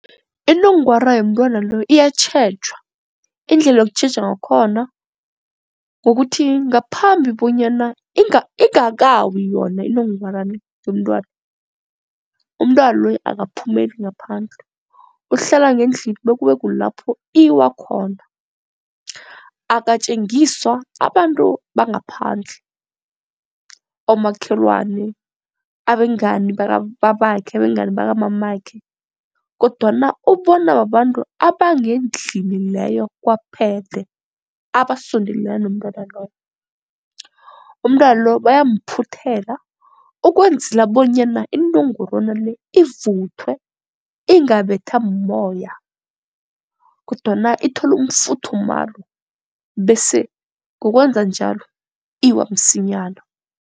Inongwara yomntwana lo iyatjhejwa, indlela yokutjheja ngakhona kukuthi ngaphambi bonyana ingakawi yona inongwana le yomntwana, umntwana loyo akaphumeli ngaphandle uhlala ngendlini bekube kulapho iwa khona. Akatjengiswa abantu bangaphandle, omakhelwane, abengani bakababakhe, abengani bakamamakhe kodwana ubona babantu abangendlini leyo kwaphele. Abasondelene nomntwana loyo, umntwana lo bayamphuthela ukwenzela bonyana inongorwana le ivuthwe ingabetha mumoya kodwana ithole umfuthumalo bese ngokwenza njalo iwa msinyana.